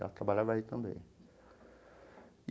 Ela trabalhava aí também e.